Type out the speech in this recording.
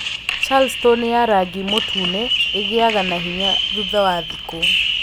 Charleston ya rangi mũtune ĩgĩaga na hinya thutha wa thikũ